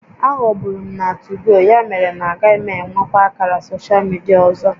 Aghọgburu m na 2go, ya mere na agaghị m enwekwa ákàrà soshal midia ọzọ